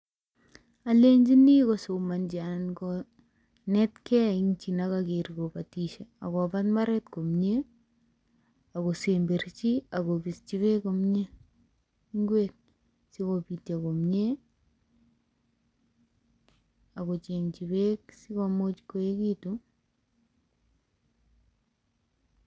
Alenjini kosomonji anan konetgei en chi negoker kobotishe. Agobat mbaret komye agosemberji ago bisyi beek komyee ngwek sikobityo komye ago chengi beek sikomuch koeegitu.